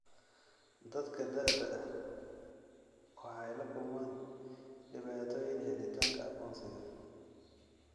Dadka da'da ah waxay la kulmaan dhibaatooyin helitaanka aqoonsiga.